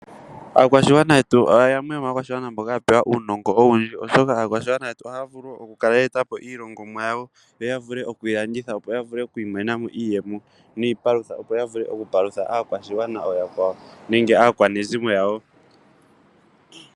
Aakwashigwana yetu yamwe yoma akwashigwana mboka yapewa uunogo owundji, oshoka aakwashigwana ohaa vulu oku kala ye etapo iilongomwa yawo yo yavule okuyi landitha opo yavule oku imonena mo iiyemo niipalutha opo ya vule oku palutha aakwashigwana oyakwawo nenge aakwanezimo yawo.